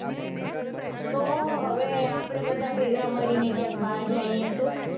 તો હવે આપડે બધા ભેગા મળીને ક્યાંક બાર જાઈયે તો.